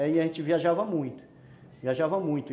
E aí a gente viajava muito, viajava muito.